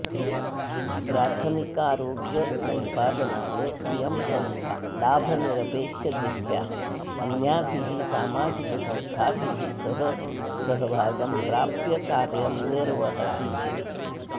प्राथमिकारोग्यसम्पादनाय इयं संस्था लाभनिरपेक्षदृष्ट्या अन्याभिः सामाजिकसंस्थाभिः सः सहभागं प्राप्य कार्यं निर्वहति